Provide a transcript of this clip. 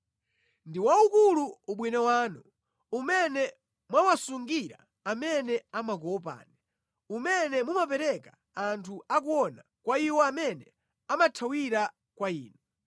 Ndi waukulu ubwino wanu umene mwawasungira amene amakuopani, umene mumapereka anthu akuona kwa iwo amene amathawira kwa Inu.